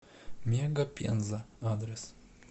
мега пенза адрес